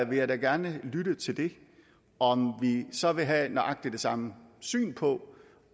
jeg da gerne lytte til det om vi så vil have nøjagtig det samme syn på